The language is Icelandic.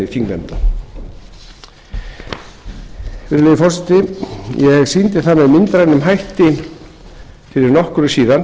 þingnefnda virðulegi forseti ég sýndi það með myndrænum hætti fyrir nokkru síðan